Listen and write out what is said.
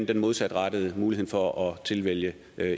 den modsatrettede mulighed for at tilvælge